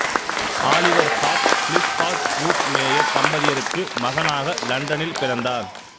Oliver Hart Philip Hart Ruth Meyer தம்பதியர்க்கு மகனாக இலண்டனில் பிறந்தார்